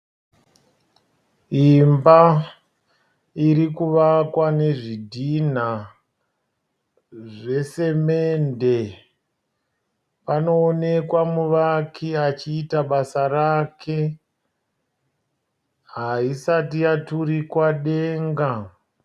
Imba iri kuvakwa nezvidhinha zvesemende. Panoonekwa muvaki achiita basa rake. Haisati yaturikwa denga.